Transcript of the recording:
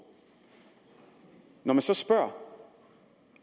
når vi så spørger